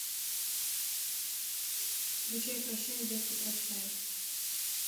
включай прощай детка прощай